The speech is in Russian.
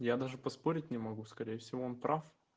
я даже поспорить не могу скорее всего он прав